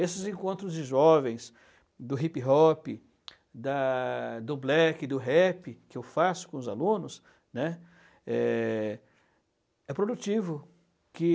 Esses encontros de jovens, do hip-hop, da do black, do rap, que eu faço com os alunos, né, é, é produtivo, que